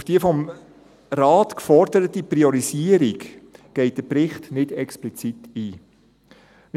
Auf die vom Rat geforderte Priorisierung geht der Bericht nicht explizit ein.